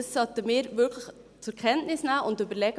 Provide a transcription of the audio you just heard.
Das sollten wir wirklich zur Kenntnis nehmen und überlegen: